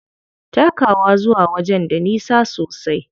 Takawa zuwa wajen da nisa sosai.